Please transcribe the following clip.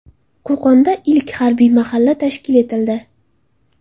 Qo‘qonda ilk harbiy mahalla tashkil etildi .